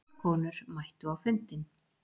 Fjórar konur mættu á fundinn.